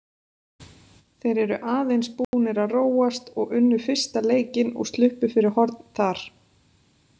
Þeir eru aðeins búnir að róast og unnu fyrsta leikinn og sluppu fyrir horn þar.